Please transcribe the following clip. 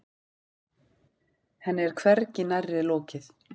Henni er hvergi nærri lokið.